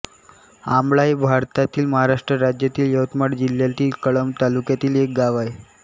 आमळा हे भारतातील महाराष्ट्र राज्यातील यवतमाळ जिल्ह्यातील कळंब तालुक्यातील एक गाव आहे